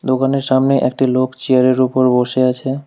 দোকানের সামনে একটি লোক চেয়ারের ওপর বসে আছে।